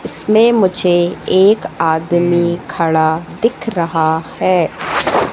इसमे मुझे एक आदमी खड़ा दिख रहा है।